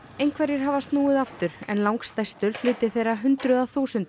einhverjir hafa snúið aftur en langstærstur hluti þeirra hundruða þúsunda